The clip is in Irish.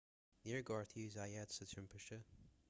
níor gortaíodh zayat sa timpiste